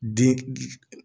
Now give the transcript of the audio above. Den